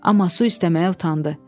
Amma su istəməyə utandı.